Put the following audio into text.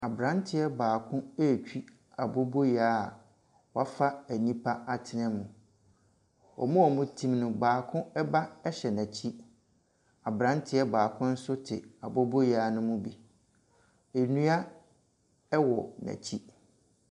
Abranteɛ baako retwi aboboyaa wɔafa nnipa atena mu. Wɔn a wɔte mu no, baako ba hyɛ n'akyi. Abranteɛ baako nso te aboboyaa no mu bi. Nnua wɔ n'akyi.